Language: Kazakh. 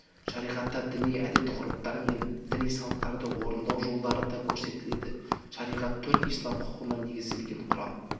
шариғатта діни әдет-ғұрыптар діни салттарды орындау жолдары да көрсетіледі шариғат төрт ислам құқығына негізделген құран